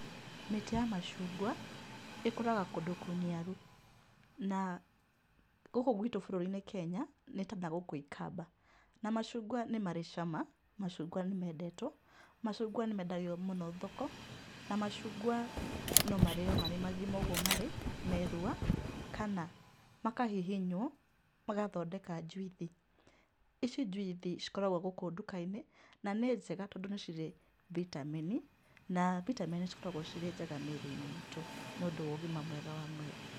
Mĩtĩ ya macungwa, ĩkũraga kũndũ kũniaru na gũkũ gwitũ bũrũri-inĩ Kenya, nĩ ta na gũkũ ikamba. Na macungwa nĩ marĩ cama, macungwa nĩ mendetwo, macungwa nĩ mendagio mũno thoko, na macungwa no marĩo marĩ magima ũguo marĩ merua, kana makahihinywo magathondeka njuithi. Ici njuithi cikoragũo gũkũ nduka-inĩ, na nĩ njega tondũ nĩ cirĩ vitamini na vitamini cikoragũo cirĩ njega mĩrĩ-inĩ itũ nĩ ũndũ wa ũgima mwega wa mwĩrĩ.